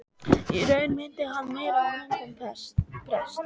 Í raun minnti hann meira á munk en prest.